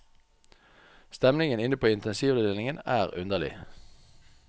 Stemningen inne på intensivavdelingen er underlig.